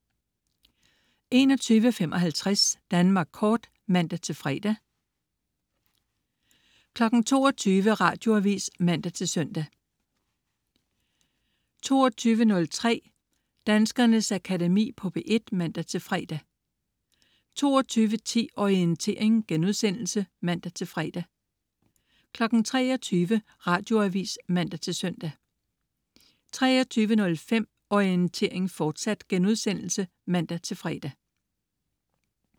21.55 Danmark Kort (man-fre) 22.00 Radioavis (man-søn) 22.03 Danskernes Akademi på P1 (man-fre) 22.10 Orientering* (man-fre) 23.00 Radioavis (man-søn) 23.05 Orientering, fortsat* (man-fre)